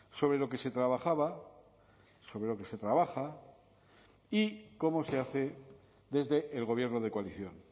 sobre lo que se trabajaba sobre lo que se trabaja y como se hace desde el gobierno de coalición